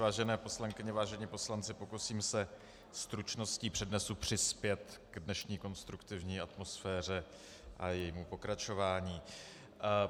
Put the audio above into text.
Vážené poslankyně, vážení poslanci, pokusím se stručností přednesu přispět k dnešní konstruktivní atmosféře a jejímu pokračování.